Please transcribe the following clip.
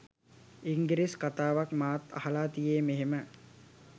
ඉංගිරිස් කතාවක් මාත් අහලා තියේ මෙහෙම